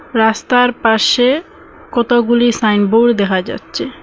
রাস্তার পাশে কতগুলি সাইনবোর্ড দেখা যাচ্চে ।